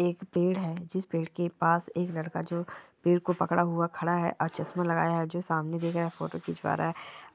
एक पेड़ है जिस पेड़ के पास एक लड़का जो पेड़ को पकड़ा हुआ खड़ा है और चसमा लगाया है जो सामने दिख रहा है फोटो खिचवा रहा है